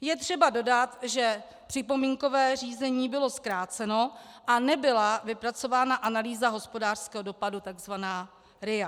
Je třeba dodat, že připomínkové řízení bylo zkráceno a nebyla vypracována analýza hospodářského dopadu, tzv. RIA.